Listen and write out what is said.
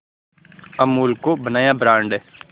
अमूल को बनाया ब्रांड